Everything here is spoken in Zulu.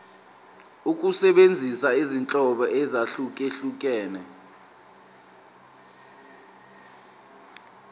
ukusebenzisa izinhlobo ezahlukehlukene